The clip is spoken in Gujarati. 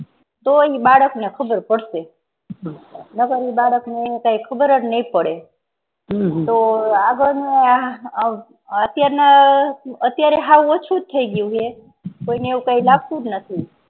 તો ઈ બાળક ને ખબર પડશે નકર ને બાળક ને કાંઈ ખબર જ નહીં પડે તો આગળના અત્યારના અત્યારે હાવ ઓછું થઇ ગ્યુ હે કોઈ એવું કાંઈ લાગતુજ નથી